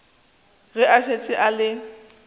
ge a šetše a le